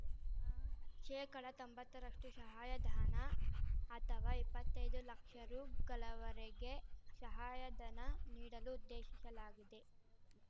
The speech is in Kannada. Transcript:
ಶೇಕಡ ತೊಂಬತ್ತ ರಷ್ಟು ಶಹಾಯಧನ ಅಥವಾ ಇಪ್ಪತ್ತೈದು ಲಕ್ಷ ರೂ ಗಳವರೆಗೆ ಶಹಾಯಧನ ನೀಡಲು ಉದ್ದೇಶಿಶಲಾಗಿದೆ